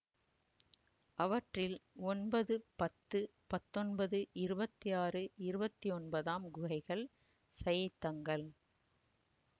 அவற்றில் ஒன்பது பத்து பத்தொன்பது இருபத்தாறு இருபத்தொன்பதாம் குகைகள் சைத்தங்கள்